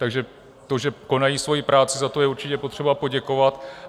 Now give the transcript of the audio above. Takže to, že konají svoji práci, za to je určitě potřeba poděkovat.